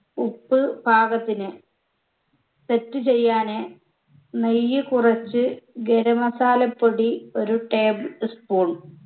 ഉപ്പ് പാകത്തിന് set ചെയ്യാന് നെയ്യ് കുറച്ച് ഗര masala പൊടി ഒരു table spoon